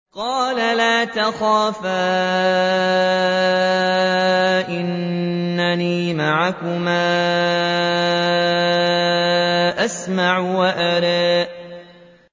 قَالَ لَا تَخَافَا ۖ إِنَّنِي مَعَكُمَا أَسْمَعُ وَأَرَىٰ